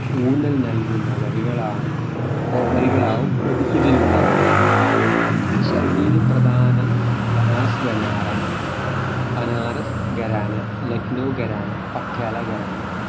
ഊന്നൽ നൽകുന്ന വരികളാണ് വരികളാവും ഇതിലുണ്ടാവുക ഈ ശൈലിയിൽ പ്രധാനം ബാനാസ് ഖരാ ബനാറസ് ഖരാന, ലഖ്‌നൗ ഖരാന, പട്യാല ഖരാന